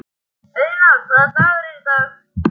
Auðna, hvaða dagur er í dag?